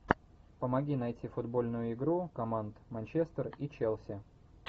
помоги найти футбольную игру команд манчестер и челси